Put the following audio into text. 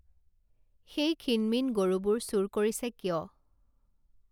সেই ক্ষীণ মিন গৰুবোৰ চুৰ কৰিছে কিয়